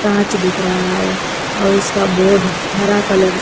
mart दिख रहा है और उसका बोर्ड हरा कलर से--